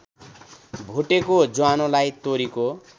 भुटेको ज्वानोलाई तोरीको